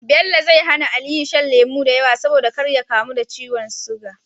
Bello zai hAna aliyu shan lemo dayawa saboda kar ya kamu da ciwon siga